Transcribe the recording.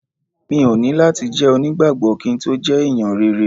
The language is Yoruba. Mi ò ní láti jẹ́ onígbàgbọ́ kí n tó jẹ́ ẹ̀yàn rere.